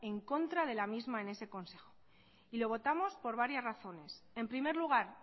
en contra de la misma en este consejo y lo votamos por varias razones en primer lugar